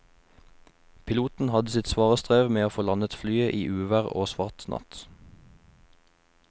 Piloten hadde sitt svare strev med å få landet flyet i uvær og svart natt.